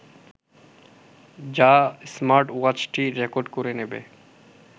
যা স্মার্টওয়াচটি রেকর্ড করে নেবে